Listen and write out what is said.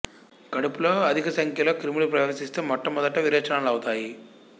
కడుపులో అధిక సంఖ్యలో క్రిములు ప్రవేశిస్తే మొట్ట మొదట విరోచనాలవుతాయి